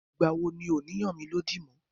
Ìgbà wo ni ọ ní yàn mí lódì mọ́?